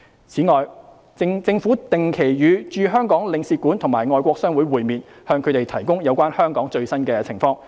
此外，政府定期與駐香港領事館及外國商會會面，向他們提供有關香港最新情況的資料。